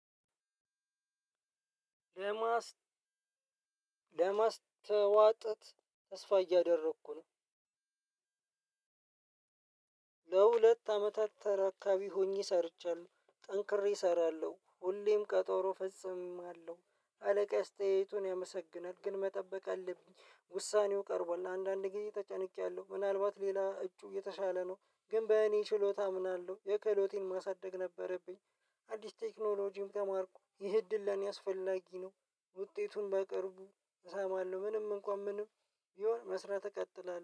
ለማስ ለማስተዋጠት ተስፋ እያደረኩ ነው። ለሁለት አመታት ተረካቢ ሆኜ መስርቻለሁ ጠንክሬ እሰራለሁ ሁሌም ቀጠሮ እፈፅማለሁ አለቃየ አስተያየቱን ያመሰግናል። ግን መጠበቅ አለብኝ ውሳኔው ቀርቧል ለአንዳንድ ጊዜ ተጨንቄያለሁ። ምናልባት ሌላ እጩ የተሻለ ነው። ግን በእኔ ችሎታ አምናለሁ ክህሎቴን ማሳደግ ነበረብኝ። አዲስ ቴክኖሎጂም ተማርኩ ይህ እድል ለኔ አስፈላጊ ነው። ውጤቱን በቅርቡ እሰማለሁ። ምንም እንኳን ምንም ቢሆን መስራት እቀጥላለሁ